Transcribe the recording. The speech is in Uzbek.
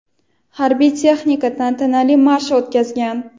harbiy texnika tantanali marsh o‘tkazgan.